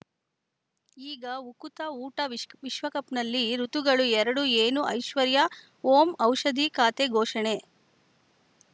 ಈಗ ಉಕುತ ಊಟ ವಿಶ್ ವಿಶ್ವಕಪ್‌ನಲ್ಲಿ ಋತುಗಳು ಎರಡು ಏನು ಐಶ್ವರ್ಯಾ ಓಂ ಔಷಧಿ ಖಾತೆ ಘೋಷಣೆ